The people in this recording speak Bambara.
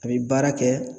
A bɛ baara kɛ